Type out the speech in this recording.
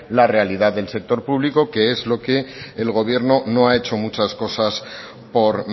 la realidad del sector público que es lo que el gobierno no ha hecho muchas cosas por